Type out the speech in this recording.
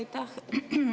Aitäh!